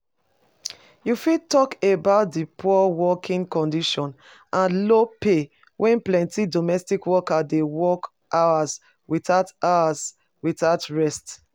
You fit talk about di poor working conditions and low pay wey plenty domestic workers dey work hours without hours without rest?